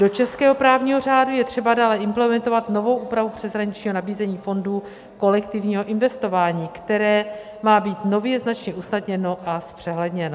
Do českého právního řádu je třeba dále implementovat novou úpravu přeshraničního nabízení fondu kolektivního investování, které má být nově značně usnadněno a zpřehledněno.